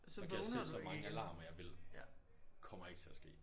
Så kan jeg sætte så mange alarmer jeg vil. Kommer ikke til at ske